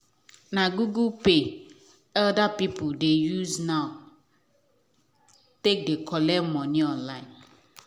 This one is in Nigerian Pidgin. na google pay elder people dey use now take dey collect money online